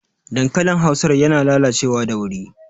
Dankalin Hausar yana lalacewa da wuri